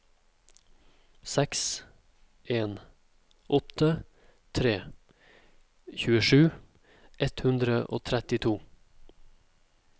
seks en åtte tre tjuesju ett hundre og trettito